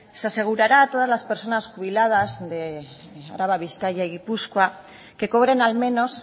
se asegurará a todas las personas jubiladas de araba bizkaia y gipuzkoa que cobren al menos